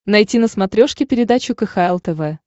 найти на смотрешке передачу кхл тв